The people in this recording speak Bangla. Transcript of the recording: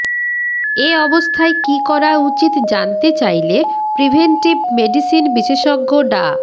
এ অবস্থায় কী করা উচিত জানতে চাইলে প্রিভেন্টিভ মেডিসিন বিশেষজ্ঞ ডা